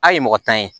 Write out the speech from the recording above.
A ye mɔgɔ tan ye